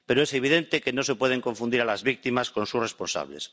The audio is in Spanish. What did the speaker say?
Pero es evidente que no se pueden confundir a las víctimas con sus responsables.